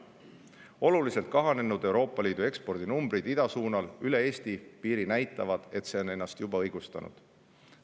Euroopa Liidu oluliselt kahanenud eksport idasuunal üle Eesti piiri näitab, et see on juba end õigustanud.